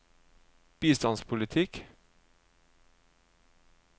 bistandspolitikk